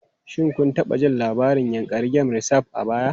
Shin kun taɓa jin labarin Yankari Game Reserve a baya?